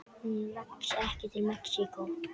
Hún vex ekki í Mexíkó.